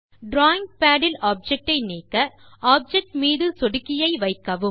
drawing pad இல் object ஐ நீக்க ஆப்ஜெக்ட் மீது சொடுக்கியை வைக்கவும்